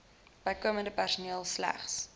bykomende personeel slegs